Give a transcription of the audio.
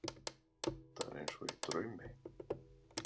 Þetta er eins og í draumi.